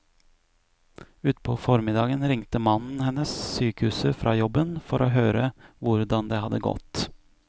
Utpå formiddagen ringte mannen hennes sykehuset fra jobben for å høre hvordan det hadde gått.